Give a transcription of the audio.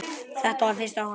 Þetta var fyrsta Húsið.